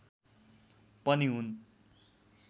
पनि हुन्